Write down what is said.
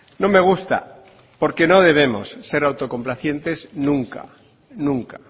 no me gusta porque no debemos ser autocomplacientes nunca nunca